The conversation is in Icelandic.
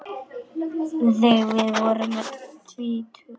Þegar við vorum öll tvítug.